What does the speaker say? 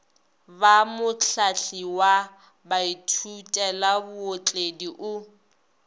ba mohlahli wa baithutelabootledi o